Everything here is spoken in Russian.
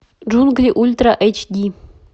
джунгли ультра эйч ди